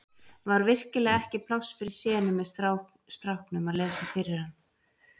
Var virkilega ekki pláss fyrir senu með stráknum að lesa fyrir hann?